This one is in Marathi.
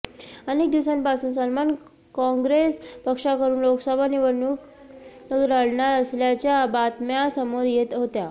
अनेक दिवसांपासून सलमान काँग्रेस पक्षाकडून लोकसभा निवडणूक लढणार असल्याच्या बातम्या समोर येत होत्या